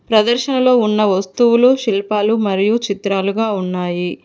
ప్రదర్శనలో ఉన్న వస్తువులు శిల్పాలు మరియు చిత్రాలుగా ఉన్నాయి.